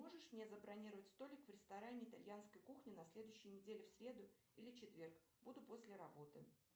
можешь мне забронировать столик в ресторане итальянской кухни на следующей неделе в среду или четверг буду после работы